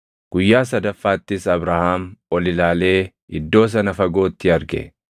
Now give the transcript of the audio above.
Guyyaa sadaffaattis Abrahaam ol ilaalee iddoo sana fagootti arge.